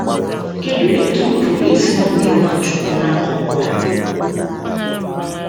Kedụ etú m pụrụ isi ṅomie Nwachukwu n’akụkụ a?